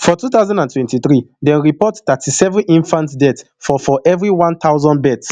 for two thousand and twenty-three dem report thirty-seven infant deaths for for everi one thousand births